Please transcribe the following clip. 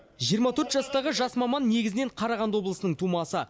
жиырма төрт жастағы жас маман негізінен қарағанды облысының тумасы